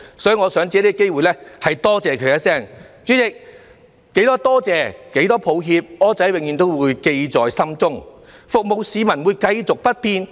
代理主席，多少句感謝，多少句抱歉，"柯仔"永遠也會記在心中，服務市民也是繼續不變的。